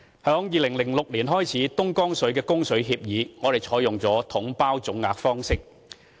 自2006年起的東江水供水協議，我們採用了"統包總額"方式。